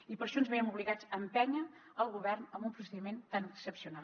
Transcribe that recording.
i per això ens veiem obligats a empènyer el govern amb un procediment tan excepcional